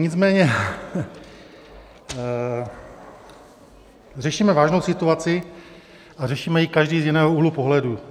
Nicméně řešíme vážnou situaci a řešíme ji každý z jiného úhlu pohledu.